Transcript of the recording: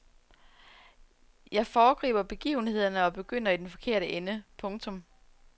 Jeg foregriber begivenhederne og begynder i den forkerte ende. punktum